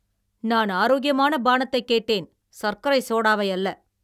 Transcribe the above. நான் ஆரோக்கியமான பானத்தைக் கேட்டேன், சர்க்கரை சோடாவை அல்ல!